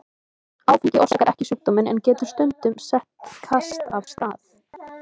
Áfengi orsakar ekki sjúkdóminn en getur stundum sett kast af stað.